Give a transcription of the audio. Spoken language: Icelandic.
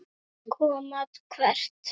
Koma hvert?